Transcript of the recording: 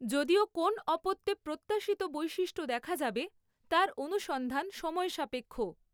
যদিও কোন্ অপত্যে প্রত্যাশিত বৈশিষ্ট্য দেখা যাবে তার অনুসন্ধান সময়সাপেক্ষ।